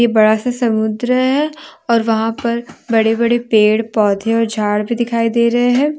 बड़ा सा समुन्द्र है और वहां पर बड़े बड़े पेड़ पौधे और झाड़ भी दिखाई दे रहे हैं।